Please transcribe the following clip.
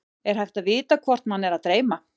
er hægt að vita hvort mann er að dreyma